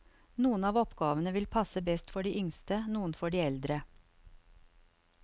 Noen av oppgavene vil passe best for de yngste, noen for de eldre.